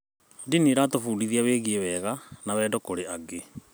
Ndini ĩratũbundithia wĩgiĩ wega na wendo kũrĩ angĩ.